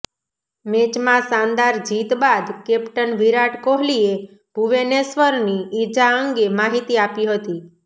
મેચમાં શાનદાર જીત બાદ કેપ્ટન વિરાટ કોહલીએ ભુવેનેશ્વરની ઈજા અંગે માહિતી આપી હતી